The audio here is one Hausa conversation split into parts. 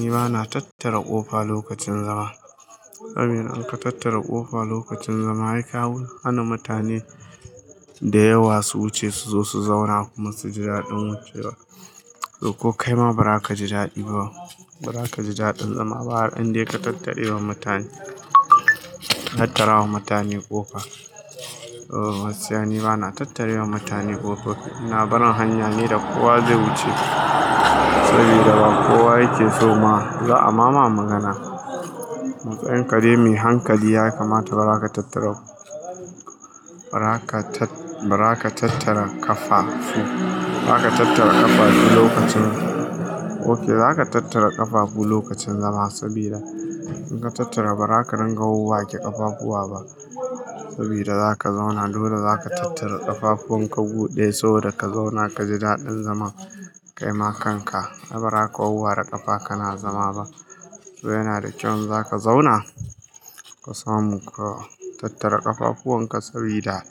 Ni bana tattara ƙofa lokacin zama. Saboda in ka tattara ƙafa lokacin zama, ai ka hana mutane da yawa su wuce su zo su zauna kuma su ji daɗin ko kaima ba za ka ji daɗi ba. Ba za ka ji daɗin zama ba har in dai ka tattare wa mutane, tattara wa mutane ƙofa. Oh, gaskiya ni bana tattare wa mutane ƙofa. Ina barin hanya ne da kowa zai wuce saboda ba kowa yake so ma za'a ma magana. Matsayin ka dai mai hankali ya kamata ba za ka tattara, ba za ka tattara ƙafafu. Ba za ka tattara ƙafafu lokacin, ok za ka tattara ƙafafu lokacin zama saboda in ka tattara ba za ka ringa wawwake ke ƙafafuwa ba saboda za ka zauna. Dole za ka tattara ƙafafuwanka gu daya saboda ka zauna ka ji daɗin zama. Kaima kanka aiba raka wawware ƙafa kana zama ba. To yana da kyau in za ka zauna, ka samu ka tattara ƙafafuwanka sabida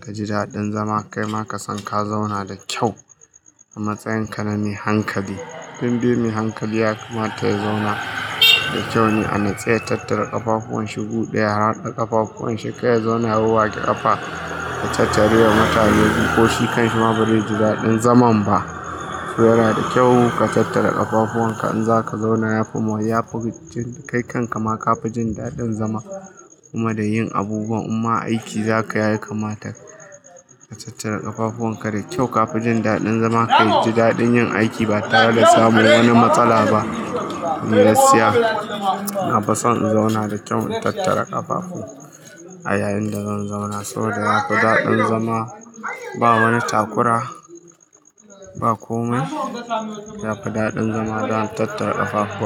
ka ji daɗin zama. Kaima ka san ka zauna da kyau a matsayin ka na mai hankali. Don dai mai hankali ya kamata ya zauna da kyau ne a matsayin tattara ƙafafun shi gu ɗaya. Ya haɗa ƙafafuwan shi, kar ya zauna ya wawwa ke ƙafa ya tattare wa mutane guri ko shi kanshi ma bai zai ji daɗin zaman ba. To yana da kyau ka tattara ƙafafuwan ka in za ka zauna. Yafi, yafi kai kanka ma ka fi jin daɗin zama kuma da yin abubuwan in ma aiki zaka yi ya kamata ka tattara ƙafafuwan ka. Da kyau ka fi jin daɗin zama ka ji daɗin yin aiki ba tare da samun wani matsala ba. Gaskiya, na fison in zauna da kyau in tattara ƙafafu a yayin da zan zauna saboda yafi daɗin zama. Ba wani takura, ba komai. Yafi daɗin zama zan tattara ƙafafu.